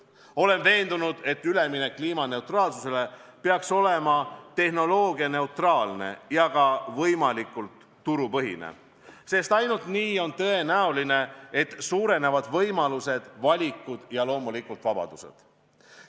Olen veendunud, et üleminek kliimaneutraalsusele peaks olema tehnoloogianeutraalne ja ka võimalikult turupõhine, sest ainult nii on tõenäoline, et suurenevad võimalused, valikud ja loomulikult vabadused.